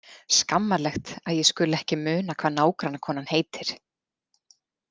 Skammarlegt að ég skuli ekki muna hvað nágrannakonan heitir.